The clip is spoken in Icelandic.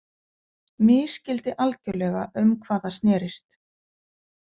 Misskildi algjörlega um hvað það snerist.